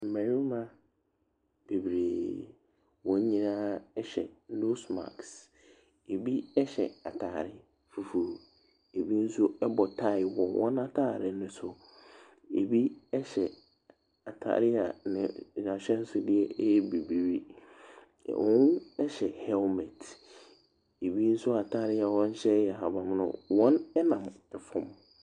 Mmarima bebreee, wɔn nyinaa hyɛ nose mask. Ɛbi hyɛ atade fufuo. Ɛbi nso bɔ tie wɔ wɔn atadeɛ no so. Ɛbi hyɛ atadeɛ a n'a n'ahyɛnsodeɛ yɛ bibire. Na wɔhyɛ helmet. Ɛbi nso atadeɛ a wɔhyɛ yɛ ahabammono. Wɔnam fam.